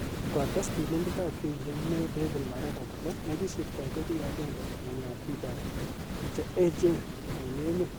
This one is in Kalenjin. Kotes Tilindet ap kesishek neo David Maraga kole nekisirto ko ki aenge eng ap pik ap che echen ing emet.